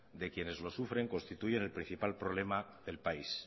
de quienes lo sufren constituyen el principal problema del país